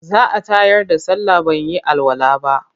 Za a tayar da sallah ban yi alwala ba.